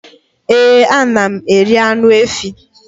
Ee ana m eri anụ efỊ